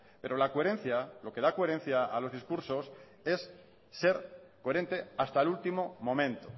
pero la coherencia lo que da coherencia a los discursos es ser coherente hasta el último momento